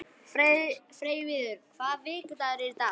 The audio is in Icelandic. Freyviður, hvaða vikudagur er í dag?